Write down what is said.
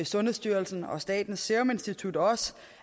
sundhedsstyrelsen og statens serum institut også